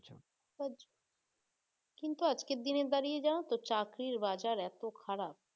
কিন্তু আজকের দিনে দাড়িয়ে জানো তো চাকরির বাজারে এত খারাপ